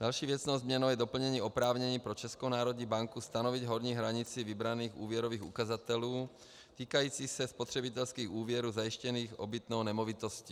Další věcnou změnou je doplnění oprávnění pro Českou národní banku stanovit horní hranici vybraných úvěrových ukazatelů týkající se spotřebitelských úvěrů zajištěných obytnou nemovitostí.